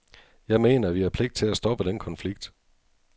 Jeg mener, at vi har pligt til at stoppe den konflikt.